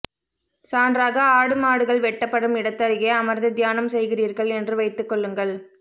சான்றாக ஆடு மாடுகள் வெட்டப்படும் இடத்தருகே அமர்ந்து தியானம் செய்கிறீர்கள் என்று வைத்துக் கொள்ளுங்கள்